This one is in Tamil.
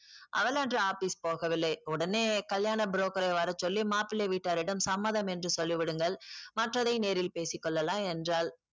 அவள் அன்று office போகவில்லை உடனே கல்யாண broker ஐ வரச்சொல்லி மாப்பிள்ளை வீட்டாரிடம் சம்மதம் என்று சொல்லி விடுங்கள் மற்றதை நேரில் பேசிக்கொள்ளலாம் என்றால்